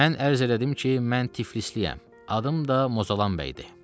Mən ərz elədim ki, mən tiflisliyəm, adım da Mozalan bəydir.